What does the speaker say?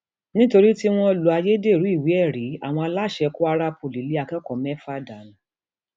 nítorí tí wọn lo ayédèrú ìwéẹrí àwọn aláṣẹ kwara poly lé akẹkọọ mẹfà dànù